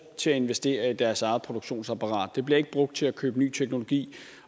til at investere i deres eget produktionsapparat det bliver ikke brugt til at købe ny teknologi